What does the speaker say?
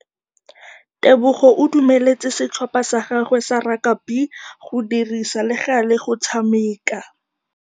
Tebogô o dumeletse setlhopha sa gagwe sa rakabi go dirisa le galê go tshameka.